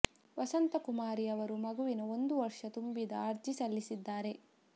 ವಸಂತ ಕುಮಾರಿ ಅವರು ಮಗುವಿನ ಒಂದು ವರ್ಷ ತುಂಬಿದ ಅರ್ಜಿ ಸಲ್ಲಿಸಿದ್ದಾರೆ